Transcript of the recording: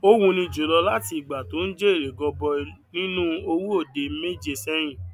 ó wúni jùlọ láti ìgbà tó ń jèrè gọbọi nínú owó òde mẹje sẹyìn